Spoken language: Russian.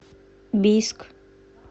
бийск